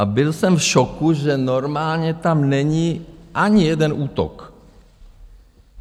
A byl jsem v šoku, že normálně tam není ani jeden útok.